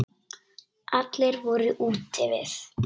Allir voru úti við.